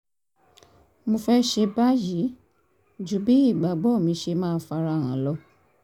mo fẹ́ ṣe báyìí ju bí ìgbàgbọ́ mi ṣe máa fara hàn lọ